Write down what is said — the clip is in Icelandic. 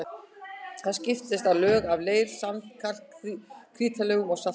Þar skiptast á lög af leir-, sand-, kalk- og krítarlögum og salti.